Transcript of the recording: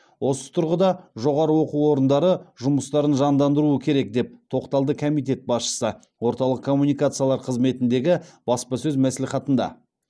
осы тұрғыда жоғары оқу орындары жұмыстарын жандандыруы керек деп тоқталды комитет басшысы орталық коммуникациялар қызметіндегі баспасөз мәслихатында